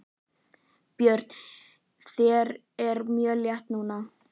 Björn: Þér er mjög létt núna?